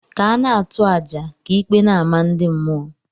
Ka a na-atụ àjà ka ikpe na-ama ndị mmụọ.